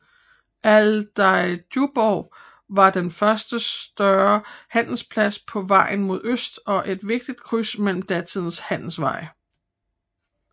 Aldeigjuborg var den første større handelsplads på vejen mod øst og et vigtigt kryds mellem datidens handelsveje